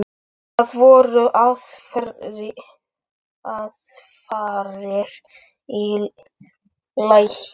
Það voru aðfarir í lagi!